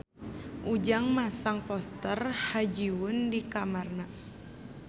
Ujang masang poster Ha Ji Won di kamarna